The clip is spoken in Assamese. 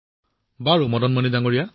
সেয়েহে ৰোগীয়ে তাৰ পৰাই ঔষধ গ্ৰহণ কৰে